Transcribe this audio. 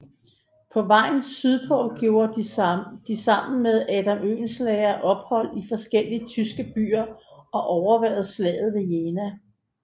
På vejen sydpå gjorde de sammen med Adam Oehlenschläger ophold i forskellige tyske byer og overværede Slaget ved Jena